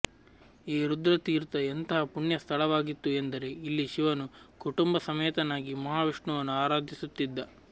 ಈ ರುದ್ರ ತೀರ್ಥ ಎಂತಹ ಪುಣ್ಯ ಸ್ಥಳವಾಗಿತ್ತು ಎಂದರೆ ಇಲ್ಲಿ ಶಿವನು ಕುಟುಂಬ ಸಮೇತನಾಗಿ ಮಹಾವಿಷ್ಣುವನ್ನು ಆರಾಧಿಸುತ್ತಿದ್ದ